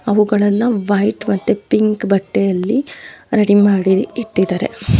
ಅವುಗಳೆಲ್ಲ white ಮತ್ತೆ pink ಬಟ್ಟೆಯಲ್ಲಿ ready ಮಾಡಿ ಇಟ್ಟಿದ್ದಾರೆ.